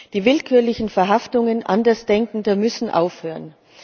Die willkürlichen Verhaftungen Andersdenkender müssen aufhören.